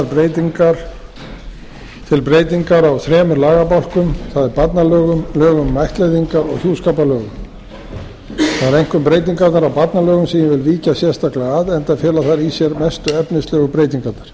lagðar til breytingar á þremur lagabálkum það er barnalögum lögum um ættleiðingar og hjúskaparlögum það eru einkum breytingarnar á barnalögum sem ég vil víkja sérstaklega að enda fela þær í sér mestu efnislegu breytingarnar